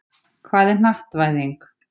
Hvað er hnattvæðing?